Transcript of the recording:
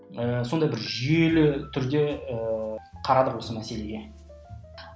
ы сондай бір жүйелі түрде ііі қарадық осы мәселеге